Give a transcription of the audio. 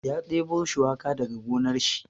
Ya ɗebo shuwaka daga gonar shi.